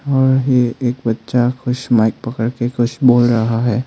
और ये एक बच्चा कुछ माइक पकड के कुछ बोल रहा है।